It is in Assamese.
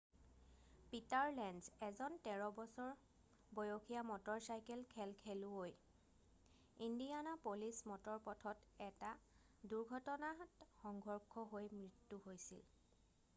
পিটাৰ লেঞ্জ এজন 13 বছৰ বয়সীয়া মটৰ চাইকেল খেল খেলুৱৈৰ ইণ্ডিয়ানাপলিছ মটৰ পথত এটা দুৰ্ঘটনাত সংঘৰ্ষ হৈ মৃত্যু হৈছিল